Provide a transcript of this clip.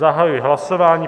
Zahajuji hlasování.